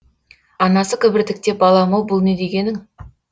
анасы кібіртіктеп балам ау бұл не дегенің